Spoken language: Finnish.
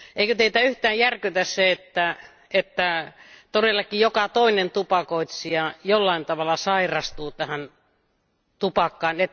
Eikö Teitä yhtään järkytä se, että todellakin joka toinen tupakoitsija jollain tavalla sairastuu tähän tupakkaan?